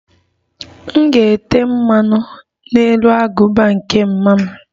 M ga-ete mmanụ n'elu agụba nke mma m